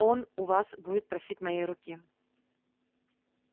он у вас будет просить моей руки